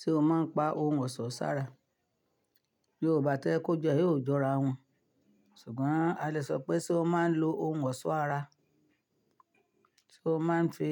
Ṣé o máa ń pa ohun ọ̀ṣọ́ sára? Yorùbá tẹ́ ẹ kó jẹ yóò jọra wọ́n, ṣùgbọ́n a lè sọ pé tí ó máa ń lo ohun ọ̀ṣọ́ ara, tí ó máa ń fi,